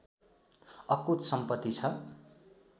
अकुत सम्पत्ति छ